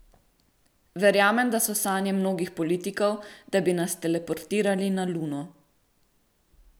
Verjamem, da so sanje mnogih politikov, da bi nas teleportirali na luno.